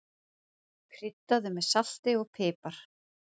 Kryddaðu með salti og pipar.